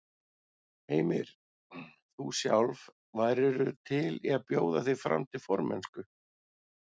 Heimir: Þú sjálf, værirðu til í að bjóða þig fram til formennsku?